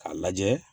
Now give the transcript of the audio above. K'a lajɛ